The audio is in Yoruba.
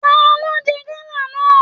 Taló n jẹ gala náà?